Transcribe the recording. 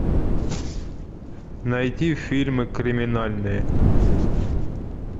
найди фильмы криминальные